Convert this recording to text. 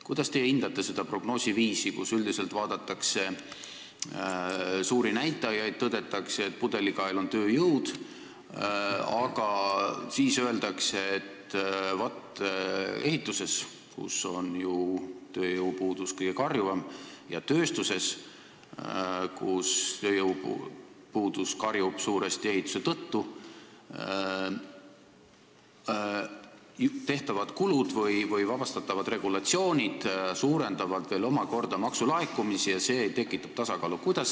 Kuidas teie hindate seda prognoosiviisi, kus üldiselt vaadatakse suuri näitajaid, tõdetakse, et pudelikael on tööjõud, aga siis öeldakse, et vaat ehituses, kus on ju tööjõupuudus kõige karjuvam, ja tööstuses, kus tööjõupuudus on karjuv suuresti ehituse tõttu, tehtavad kulud või vabastatavad regulatsioonid suurendavad omakorda maksulaekumisi ja see tekitab tasakaalu?